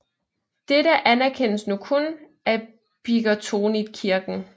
Dette anerkendes nu kun af Bickertonitkirken